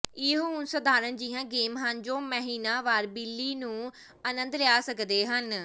ਇਹ ਉਹ ਸਾਧਾਰਣ ਜਿਹੀਆਂ ਗੇਮ ਹਨ ਜੋ ਮਹੀਨਾਵਾਰ ਬਿੱਲੀ ਨੂੰ ਅਨੰਦ ਲਿਆ ਸਕਦੇ ਹਨ